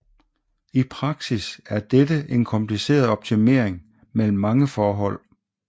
I praksis er dette en kompliceret optimering mellem mange forhold